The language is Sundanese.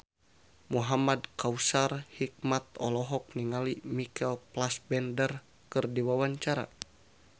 Muhamad Kautsar Hikmat olohok ningali Michael Fassbender keur diwawancara